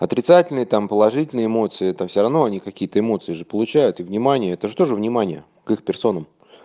отрицательные там положительные эмоции это всё равно они какие то эмоции же получают и внимание это что же внимание к их персонам